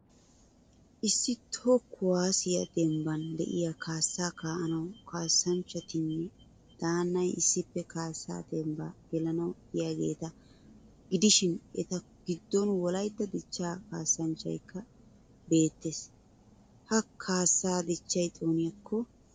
Issi toho kuwaasiya dembban de'iya kaasaa kaa'anawu kaasanchchattinne daannay issippe kaasaa demmbbaa gelanawu yiyaageeta gidishiin eta gidon Wolaitta dichchaa kaasanchchaykka beettees. Ha kaassaa dichchay xooniyakko!